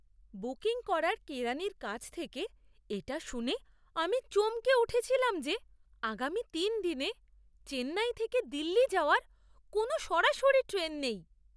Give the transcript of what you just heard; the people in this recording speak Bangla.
বুকিং করার কেরানির কাছ থেকে এটা শুনে আমি চমকে উঠেছিলাম যে, আগামী তিন দিনে চেন্নাই থেকে দিল্লি যাওয়ার কোনও সরাসরি ট্রেন নেই।